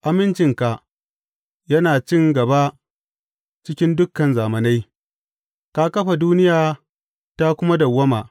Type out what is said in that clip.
Amincinka yana cin gaba cikin dukan zamanai; ka kafa duniya ta kuma dawwama.